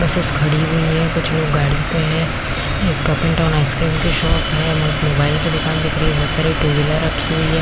Buses खड़ी हुई है कुछ लोग गाडी में है एक कपिनटोम आइसक्रीम की शॉप है मोबाइल की दूकान दिख रही है बहुत सारे टू व्हीलर्स रखी हुई है।